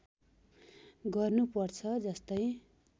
गर्नु पर्छ जस्तै